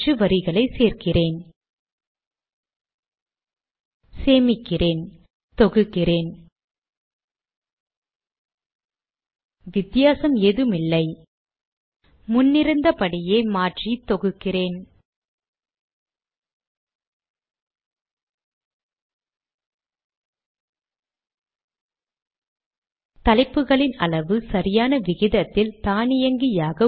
இரட்டை ஸ்லாஷ் பின்சாய் கோடுகள் புதிய வரியை துவங்கும்